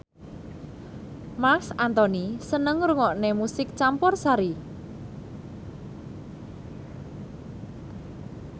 Marc Anthony seneng ngrungokne musik campursari